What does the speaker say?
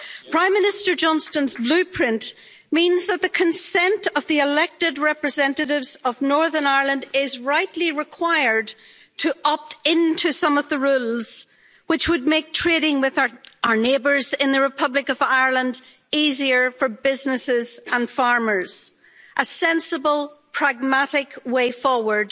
Prime Minister Johnson's blueprint means that the consent of the elected representatives of Northern Ireland is rightly required to opt into some of the rules, which would make trading with our neighbours in the Republic of Ireland easier for businesses and farmers a sensible, pragmatic way forward,